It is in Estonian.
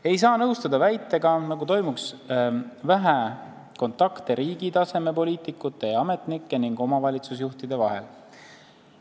Ei saa nõustuda väitega, nagu toimuks vähe kontakte riigi taseme poliitikute ja ametnike ning omavalitsusjuhtide vahel.